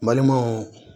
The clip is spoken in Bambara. N balimaw